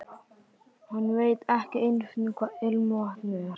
Hann veit ekki einu sinni hvað ilmvatn er.